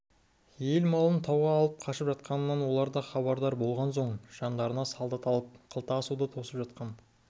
ел малын тауға алып қашып жатқанынан олар да хабардар болған соң жандарына солдат алып қылта асуда тосып жатқан